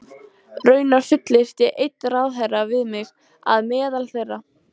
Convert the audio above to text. Raunar fullyrti einn ráðherrann við mig, að meðal þeirra